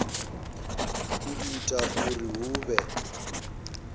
u ita uri hu vhe